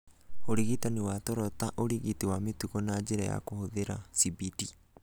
Ũrigitani wa toro ta ũrigiti wa mĩtugo na njĩra ya kũhũthĩra cbt